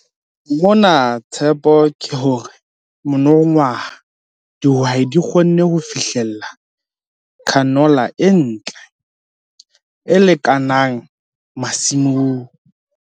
MONA TSHEPO KE HORE MONONGWAHA DIHWAI DI KGONNE HO FIHLELLA CANOLA E NTLE, E LEKANANG MASIMONG.